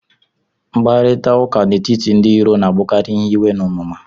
Mkparịta ụka n'etiti ndị iro na-abụkarị ihe iwe na onuma